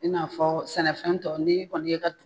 I n'a fɔ sɛnɛfɛn tɔw n'i kɔni ye ka